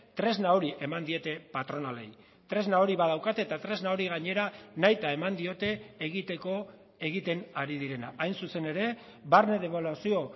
tresna hori eman diete patronalei tresna hori badaukate eta tresna hori gainera nahita eman diote egiteko egiten ari direna hain zuzen ere barne debaluazio